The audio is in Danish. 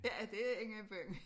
Ja det inde i byen